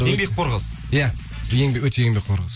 еңбекқор қыз ия өте еңбекқор қыз